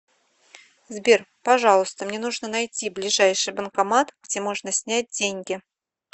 сбер пожалуйста мне нужно найти ближайший банкомат где можно снять деньги